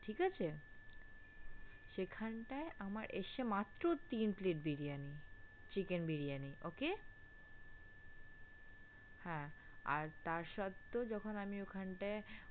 ঠিকাছে? সেখানটায় আমার এসছে মাত্র তিন plate biryani chicken biryani okay আর তার সত্ত্বেও যখন আমি ওখানটায়,